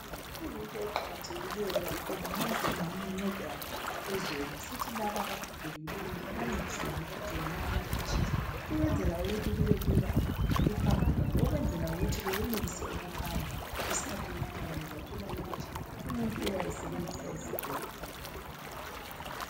Kuyinto eqakathekileyo kakhulu ma singancedana ezweni sithi laba abagogekileyo sibancedise ngokubathengela ama crutches ukwenzela ukuthi kubelula uhambo lwabo ukwenzela ukuthi beyenelise ukuhamba. Isikhathi esinengi uzathola ukuthi umuntu uyabesebenzisa isigodo.